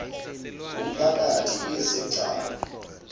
ngumphakathi izi gcawu